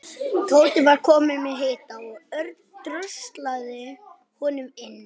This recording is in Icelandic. Tóti var kominn með hita og Örn dröslaði honum inn.